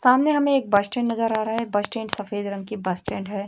सामने हमें एक बस स्टैंड नजर आ रहा है बस स्टैंड सफेद रंग की बस स्टैंड है।